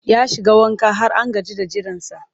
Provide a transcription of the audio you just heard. Ya shiga wanka har an gaji da jiransa